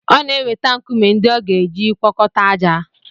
Ọ na-eweta nkume ndị a ga-eji gwọkọta ájá.